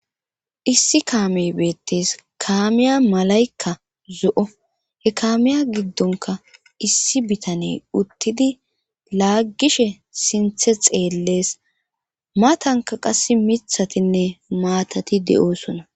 issi kaamey beettes kaamiya malaykka zo7o he kaamiya giddonka issi bitane uttidi laaggishe sinthe xeellees matanka qass mithatinne maatati de7oosona